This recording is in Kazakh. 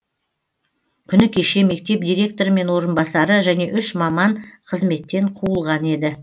күні кеше мектеп директоры мен орынбасары және үш маман қызметтен қуылған еді